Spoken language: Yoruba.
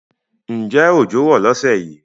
Ǹjẹ́ ọjọ́ rò lọ́sẹ̀ yìí?